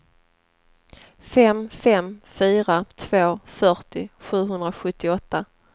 fem fem fyra två fyrtio sjuhundrasjuttioåtta